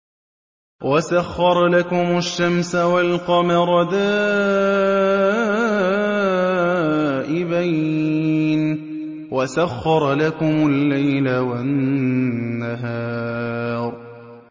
وَسَخَّرَ لَكُمُ الشَّمْسَ وَالْقَمَرَ دَائِبَيْنِ ۖ وَسَخَّرَ لَكُمُ اللَّيْلَ وَالنَّهَارَ